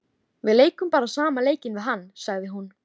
Við leikum bara sama leikinn við hann, sagði hún.